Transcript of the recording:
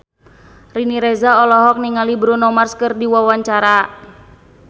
Riri Reza olohok ningali Bruno Mars keur diwawancara